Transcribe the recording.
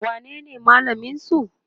wanene malamin su?